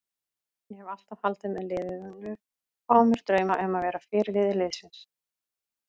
Ég hef alltaf haldið með liðinu og á mér drauma um að verða fyrirliði liðsins.